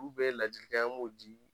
ladilikan an b'o di